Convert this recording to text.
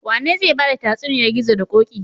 Wane zai bada tatsuniyar gizo da koki?